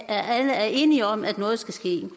er enige om at noget skal ske når